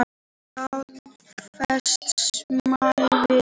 Staðfest samvist.